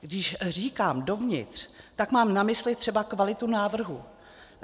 Když říkám dovnitř, tak mám na mysli třeba kvalitu návrhů.